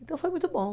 Então foi muito bom.